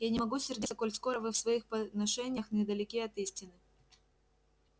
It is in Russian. я не могу сердиться коль скоро вы в своих поношениях недалеки от истины